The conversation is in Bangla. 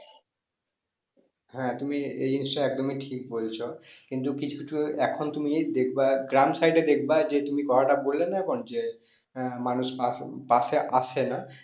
হ্যাঁ তুমি এই জিনিসটা একদমই ঠিক বলছো কিন্তু কিছু কিছু এখন তুমি দেখবে গ্রাম side এ দেখবা যে তুমি কথাটা বললে না এখন যে আহ মানুষ পাশে আসে না